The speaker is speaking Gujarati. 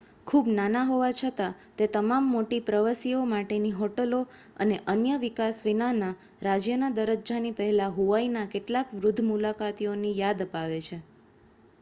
ખૂબ નાના હોવા છતાં તે તમામ મોટી પ્રવસીઓ માટેની હોટલો અને અન્ય વિકાસ વિનાના રાજ્યના દરજજાની પહેલાં હુવાઇના કેટલાક વૃદ્ધ મુલાકાતીઓની યાદ અપાવે છે